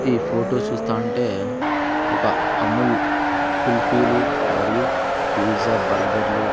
ఈ ఫోటో చూస్తా ఉంటే ఒక అముల్ కుల్ఫీలు మరియు పీజా బర్గర్లు --